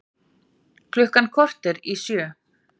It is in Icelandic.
Af þessum efnum er langmest af koltvíildi.